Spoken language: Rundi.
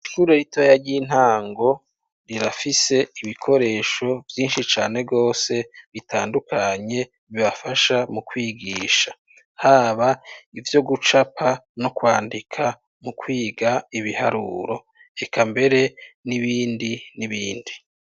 Ishure ritoya ry'intango, rirafise ibikoresho vyinshi cane rwose, bitandukanye, bibafasha mu kwigisha; haba ivyo gucapa, no kwandika, mu kwiga ibiharuro; eka mbere n'ibindi n'ibindi.